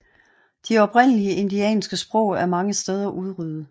De oprindelige indianske sprog er mange steder udryddet